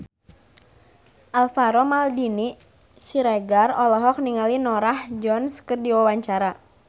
Alvaro Maldini Siregar olohok ningali Norah Jones keur diwawancara